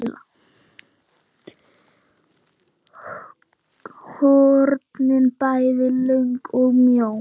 hornin bæði löng og mjó.